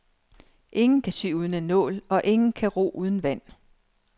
Ingen kan sy uden en nål, og ingen kan ro uden vand.